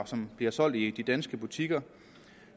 som bliver solgt i de danske butikker